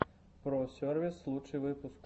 про сервис лучший выпуск